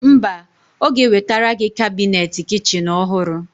Mba, Ọ ga-ewetara gị kabinet kichin ọhụrụ.